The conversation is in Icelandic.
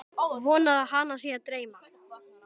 Vonar að hana sé að dreyma.